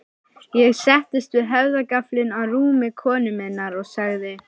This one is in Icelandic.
Ég settist við höfðagaflinn á rúmi konu minnar og sagði